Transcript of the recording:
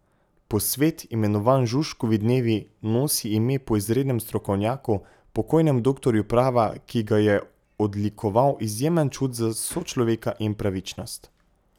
Posvet, imenovan Žužkovi dnevi, nosi ime po izrednem strokovnjaku, pokojnem doktorju prava, ki ga je odlikoval izjemen čut za sočloveka in pravičnost.